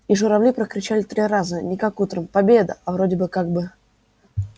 и журавли прокричали три раза не как утром победа а вроде бы как бы